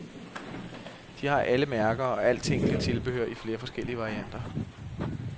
De har alle mærker og alt tænkeligt tilbehør i flere forskellige varianter.